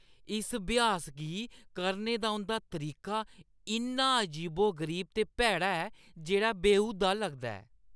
इस अभ्यास गी करने दा उंʼदा तरीका इन्ना अजीबो-गरीब ते भैड़ा ऐ जेह्ड़ा बेहूदा लगदा ऐ।